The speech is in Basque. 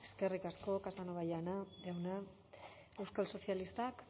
eskerrik asko casanova jauna euskal sozialistak